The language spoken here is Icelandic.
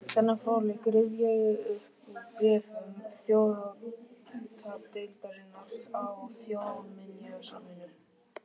Þennan fróðleik rifja ég upp úr bréfum þjóðháttadeildarinnar á Þjóðminjasafninu.